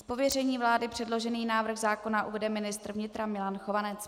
Z pověření vlády předložený návrh zákona uvede ministr vnitra Milan Chovanec.